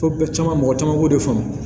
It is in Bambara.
Fo bɛɛ caman mɔgɔ caman b'o de faamu